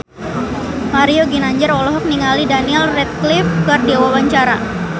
Mario Ginanjar olohok ningali Daniel Radcliffe keur diwawancara